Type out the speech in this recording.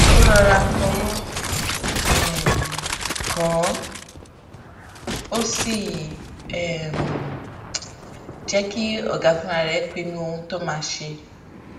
ó rọra fọwó um kàn án ó sì um jé kí ọga fúnra rè pinnu ohun tó máa ṣe